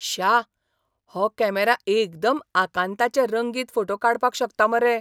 श्या, हो कॅमेरा एकदम आकांताचे रंगीत फोटे काडपाक शकता मरे!